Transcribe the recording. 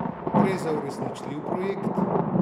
Gre za uresničljiv projekt?